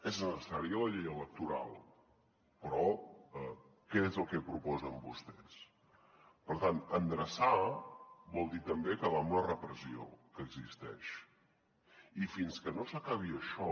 és necessària la llei electoral però què és el que proposen vostès per tant endreçar vol dir també acabar amb la repressió que existeix i fins que no s’acabi això